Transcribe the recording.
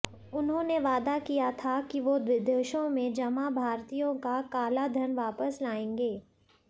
उन्होंने वादा किया था की वो विदेशों में जमा भारतीयों का काला धन वापस लाएंगे